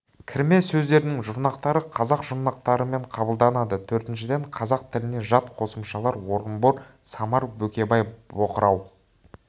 кірме сөздердің жұрнақтары қазақ жұрнақтарымен қабылданады төртіншіден қазақ тіліне жат қосымшалар орынбор самар бөкебай боқырау